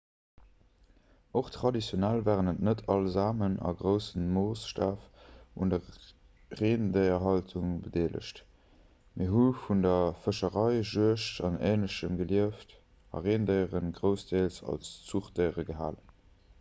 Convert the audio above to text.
och traditionell waren net all samen a groussem moossstaf un der rendéierhaltung bedeelegt mee hu vun der fëscherei juegd an änlechem gelieft a rendéiere groussdeels als zuchdéiere gehalen